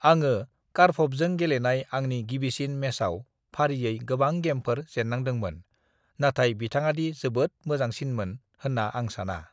"आङो कारपभजों गेलेनाय आंनि गिबिसिन मेचआव फारियै गोबां गेमफोर जेन्नांदोंमोन, नाथाय बिथांङादि जोबोद मोजांसिनमोन होन्ना आं साना।"